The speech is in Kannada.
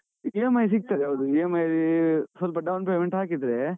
EMI ಸಿಗ್ತದೆ. ಹೌದು, EMI ಸ್ವಲ್ಪ down payment ಹಾಕಿದ್ರೆ.